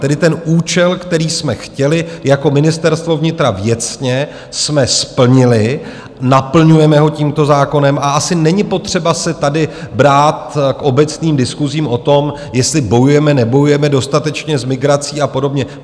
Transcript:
Tedy ten účel, který jsme chtěli jako Ministerstvo vnitra věcně, jsme splnili, naplňujeme ho tímto zákonem a asi není potřeba se tady brát k obecným diskusím, o tom, jestli bojujeme - nebojujeme dostatečně s migrací a podobně.